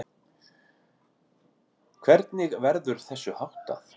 Hvernig verður þessu háttað?